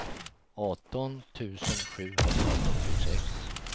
arton tusen sjuhundrafyrtiosex